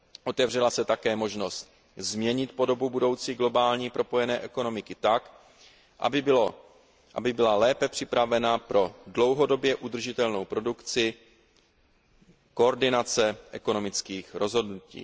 Otevřela se také možnost změnit podobu budoucí globální propojené ekonomiky tak, aby byla lépe připravena pro dlouhodobě udržitelnou produkci koordinace ekonomických rozhodnutí.